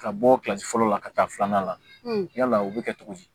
Ka bɔ kilasi fɔlɔ la ka taa filanan na yala o bɛ kɛ cogo di